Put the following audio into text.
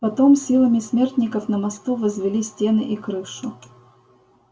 потом силами смертников на мосту возвели стены и крышу